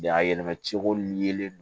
a yɛlɛma cogo yeelen don